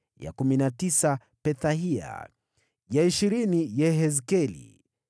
ya kumi na tisa Pethahia, ya ishirini Yehezkeli,